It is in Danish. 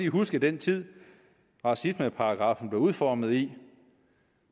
huske den tid racismeparagraffen blev udformet i